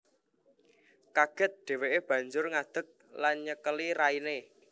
Kaget dheweke banjur ngadek lan nyekeli raine